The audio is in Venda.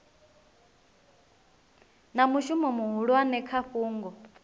na mushumo muhulwane kha fhungo